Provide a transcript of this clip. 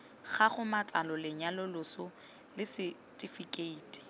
gago matsalo lenyalo loso lesetifikheiti